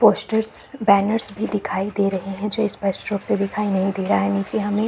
posters banners भी दिखाई दे रहे है जो स्पष्ट रूप से दिखाई नहीं दे रहा है नीचे हमे --